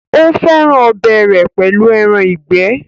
ó fẹ́ràn ọbẹ̀ rẹ̀ pẹ̀lú ẹran ìgbẹ́.